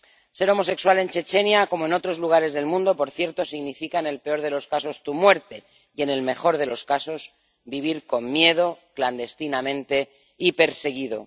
Ser homosexual en Chechenia, como en otros lugares del mundo, por cierto, significa, en el peor de los casos, tu muerte, y en el mejor de los casos, vivir con miedo, clandestinamente y perseguido.